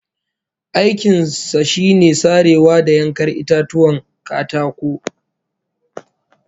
Aikin sa shine sarewa da yankar itatuwan katako